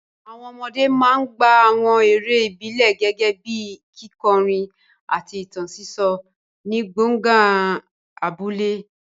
Àwọn ọmọdé máa ń gbá àwọn eré ìbílẹ̀ gẹ́gẹ́ bíi kíkọrin àti ìtàn sísọ ní gbọ̀ngàn abúlé.